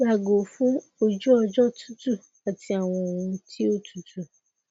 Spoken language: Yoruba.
yago fun ojuọjọ tutu ati awọn ohun ti o tutu